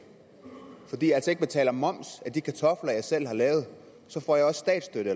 fordi jeg altså ikke betaler moms af de kartofler jeg selv har lavet så får jeg også statsstøtte